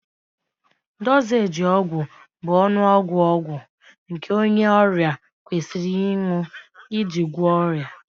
Dozééji ọgwụ bụ ọnụọgụ ọgwụ nke onye ọrịa kwesịrị ịṅụ iji gwọọ ọrịa